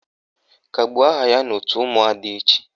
Kagbuo aha ya n' òtù ụmụada echi!